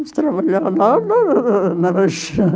Nós trabalhava lá na na